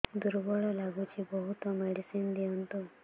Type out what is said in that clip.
ଦୁର୍ବଳ ଲାଗୁଚି ବହୁତ ମେଡିସିନ ଦିଅନ୍ତୁ